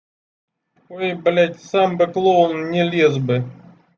ой блять сам бы клоун не лез бы